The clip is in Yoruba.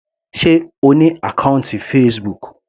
Sé O ní àkọ́ùntì Facebook.